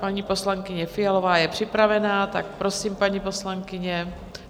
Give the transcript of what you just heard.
Paní poslankyně Fialová je připravena, tak prosím, paní poslankyně.